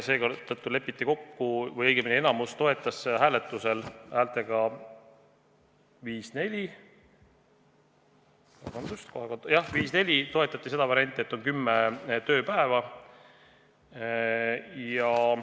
Seetõttu enamik toetas hääletusel – häälte vahekord oli 5 : 4 – seda varianti, et tähtaeg on kümme tööpäeva.